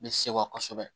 N bɛ sewa kosɛbɛ